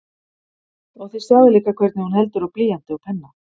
Og þið sjáið líka hvernig hún heldur á blýanti og penna.